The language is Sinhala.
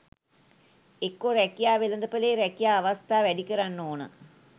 එක්කෝ රැකියා වෙළඳපලේ රැකියා අවස්ථා වැඩි කරන්න ඕන